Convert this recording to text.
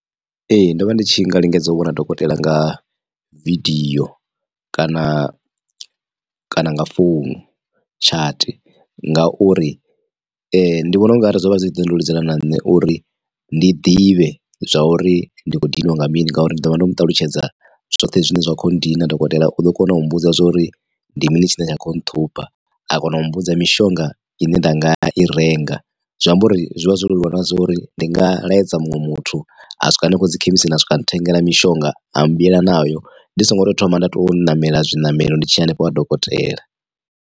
Ee ndo vha ndi tshi nga lingedza u vhona dokotela nga video kana kana nga founu tshati ngauri, ndi vhona ungari zwo vha zwi khou ndeludzela na nṋe uri ndi ḓivhe zwauri ndi khou diniwa nga mini ngauri ndi ḓovha ndo muṱalutshedza zwoṱhe zwine zwa kho ndina dokotela u ḓo kona u mbudza zwauri ndi mini tshine tsha kho nṱhupha a kona u mbudza mishonga ine nda nga i renga zwi amba uri zwi vha zwo leluwa na zwori ndi nga laedza muṅwe muthu a swika hanefho dzi khemisini swika nthengela mishonga a mbuyela nayo ndi songo to thoma nda tou ṋamela zwiṋamelo ndi tshiya hanefho ha dokotela.